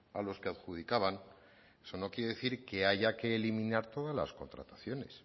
a los que adjudicaban eso no quiere decir que haya que eliminar todas las contrataciones